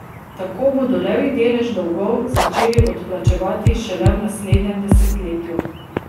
Tako bodo levji delež dolgov začeli odplačevati šele v naslednjem desetletju.